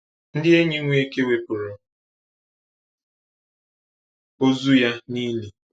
Ndi enyi Nweke wepuru ozu ya nili?